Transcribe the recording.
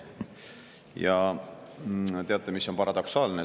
Ja teate, mis on paradoksaalne?